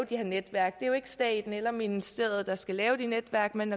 de her netværk det er jo ikke staten eller ministeriet der skal lave de netværk men